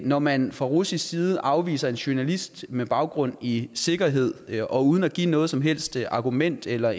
når man fra russisk side afviser en journalist med baggrund i sikkerhed og uden at give noget som helst argument eller